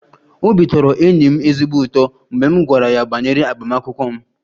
Obi tọrọ enyi m ezigbo ụtọ mgbe m gwara ya banyere agbamakwụkwọ m